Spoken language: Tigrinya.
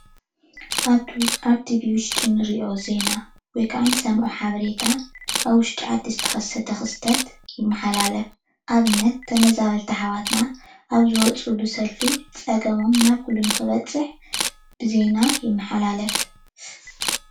ኣብ ቲቪ ውሽጢ እንሪኦ ዜና ወይ ከዓ እንሰምዖ ሓበሬታ ኣብ ውሽጢ ዓዲ ዝተከሰተ ክስተት ይመሓለፍ፡፡ ኣብነት ተመዛበልቲ ኣሕዋት ኣብ ዝወፅሉ ሰልፊ ፀገሞም ናብ ኩሉ ንክበፅሕ ብዜና ይመሓላለፍ፡፡